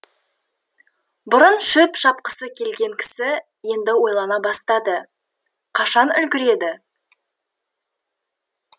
бұрын шөп шапқысы келген кісі енді ойлана бастады қашан үлгіреді